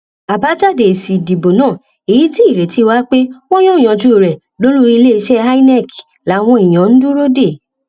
àbájáde èsì ìdìbò náà èyí tí ìrètí wà pé wọn yóò yanjú rẹ lólùiléeṣẹ inec làwọn èèyàn ń dúró dè